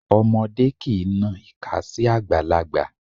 Ọmọdé kìí na ìka sí àgbàlagbà.